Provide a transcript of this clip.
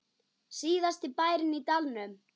Síðasti bærinn í dalnum